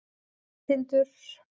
Tindur